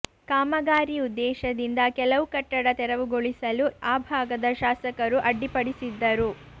ಕಾಮಗಾರಿ ಉದ್ದೇಶದಿಂದ ಕೆಲವು ಕಟ್ಟಡ ತೆರವುಗೊಳಿಸಲು ಆ ಭಾಗದ ಶಾಸಕರು ಅಡ್ಡಿಪಡಿಸಿದ್ದರು